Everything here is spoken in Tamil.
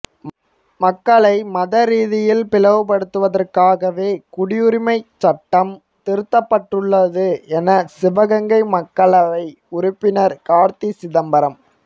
மக்களை மத ரீதியில் பிளவுபடுத்துவதற்காகவே குடியுரிமை சட்டம் திருத்தப்பட்டுள்ளது என சிவகங்கை மக்களவை உறுப்பினா் காா்த்தி சிதம்பரம்